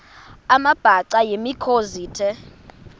amabhaca yimikhosi the